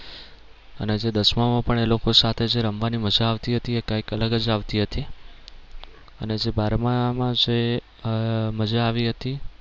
અને જે દસમામાં પણ એ લોકો સાથે જે રમવાની મજા આવતી હતી એ કઈક અલગ જ આવતી હતી અને જે બારમામાં આહ મજા આવી હતી